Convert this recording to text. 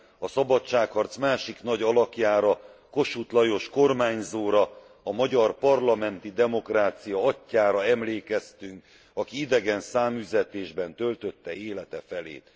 a szabadságharc másik nagy alakjára, Kossuth Lajos kormányzóra, a magyar parlamenti demokrácia atyjára emlékeztünk, aki idegen száműzetésben töltötte élete felét.